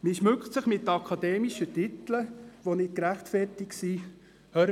Man schmückt sich mit akademischen Titeln, die nicht gerechtfertigt sind.